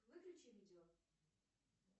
выключи видео